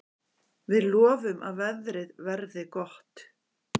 Við lofum að veðrið verði gott.